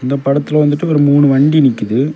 இந்த படத்துல வந்துட்டு ஒரு மூணு வண்டி நிக்குது.